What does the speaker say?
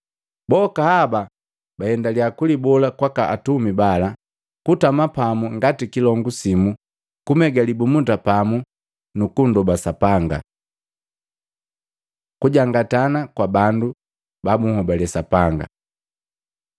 Boka haba baendaliya kulibola kwaka atumi bala, kutama pamu ngati kilongu simu, kumega libumunda pamu nu kundoba Sapanga. Kujangatana kwa bandu ba bunhobali Sapanga